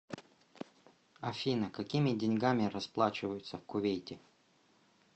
афина какими деньгами расплачиваются в кувейте